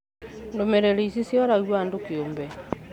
Ndũmĩrĩri ici cioragio andũ kĩũmbe